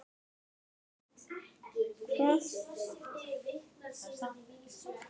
getur Sæmi ekki skutlað þér?